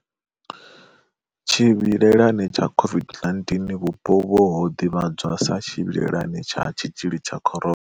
Tshivhilelani tsha COVID-19 vhupo uvhu ho ḓivhadzwa sa tshivhilelani tsha tshitzhili tsha Corona.